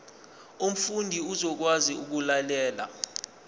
umfundi uzokwazi ukulalela